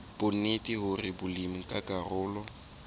bonnete hore molemi ke karolo